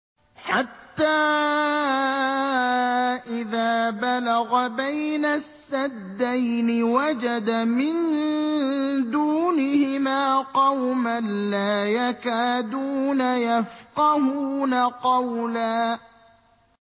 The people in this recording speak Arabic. حَتَّىٰ إِذَا بَلَغَ بَيْنَ السَّدَّيْنِ وَجَدَ مِن دُونِهِمَا قَوْمًا لَّا يَكَادُونَ يَفْقَهُونَ قَوْلًا